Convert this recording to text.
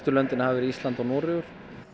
löndin hafa verið Ísland og Noregur